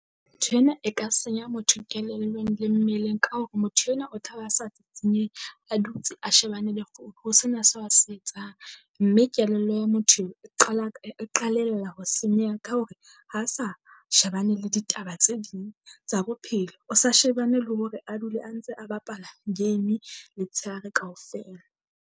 Nthwena e ka senya motho kelellong le mmeleng ka hore motho enwa o tla ba sa sisnyehe, a dutse a shebane le founu ho sena sa a se etsang. Mme kelello ya motho e qala ka e qalella ho senyeha ka hore ha sa shebane le ditaba tse ding tsa bophelo, o sa shebane le hore a dule a ntse a bapala game letshehare kaofela.